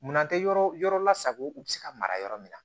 Munan tɛ yɔrɔ yɔrɔ la sago u bɛ se ka mara yɔrɔ min na